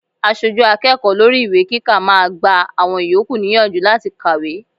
Aṣojú akẹ́kọ̀ọ́ lórí ìwé kíkà máa gba àwọn ìyókù níyànjú láti kàwé.